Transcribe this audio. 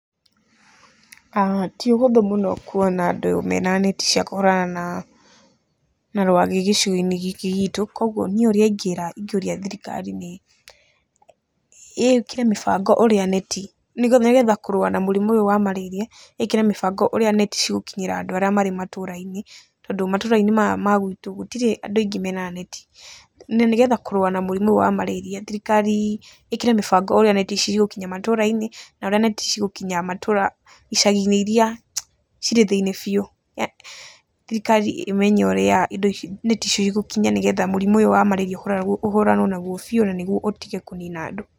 Ti ũhũthũ mũno kuona andũ mena neti cia kũhũrana na rwagĩ gĩcigo-inĩ gĩkĩ gitũ. Koguo niĩ ũrĩa ingiuria thirikari nĩ ĩkire mĩbango ũrĩa neti, nĩ getha kũrũa na mũrimũ ũyũ wa marĩria, ĩkĩre mibango ũrĩa neti cigũkinyĩra andũ arĩa marĩ matũũra-inĩ, tondũ matũũra-inĩ ma magwitũ gũtirĩ andũ aingĩ mena neti. Na nĩ getha kũrũa na mũrimũ wa marĩria thirikari ĩkĩre mĩbango ũrĩa neti ici cigũkinya matũũra-inĩ na ũrĩa neti cigũkinya matũũra icagi-inĩ iria cirĩ thĩiniĩ biũ, thirikari ĩmenye ũrĩa indo ici, neti ici igũkinya nĩgetha mũrimũ ũyũ wa marĩria ũhũranwo naguo biũ na niguo ũtige kũnina andũ.